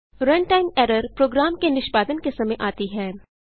run time error program के निष्पादन के समय आती है